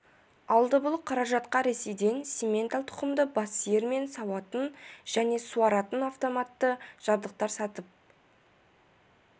алды бұл қаражатқа ресейден симментал тұқымды бас сиыр мен сауатын және суаратын автоматты жабдықтар сатып